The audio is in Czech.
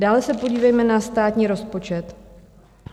Dále se podívejme na státní rozpočet.